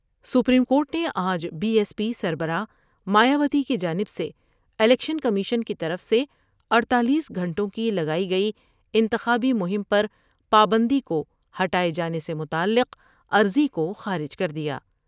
Supreme court نے آج B S P سربراہ مایاوتی کی جانب سے الیکشن کمیشن کی طرف سے اڈتالیس گھنٹوں کی لگائی گئی انتخابی مہم پر پابندی کو ہٹاۓ جانے سے متعلق عرضی کو خارج کر دیا ۔